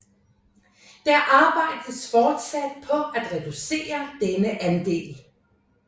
Det arbejdes fortsat på at reducere denne andel